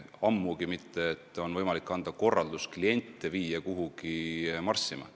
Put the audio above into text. Ammugi mitte pole võimalik anda korraldust viia kliente kuhugi marssima.